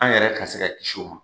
An yɛrɛ ka se ka kiisi o ma.